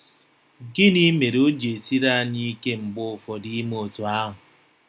Gịnị mere o ji esiri anyị ike mgbe ụfọdụ ime otú ahụ?